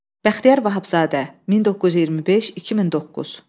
Bəxtiyar Vahabzadə, 1925-2009.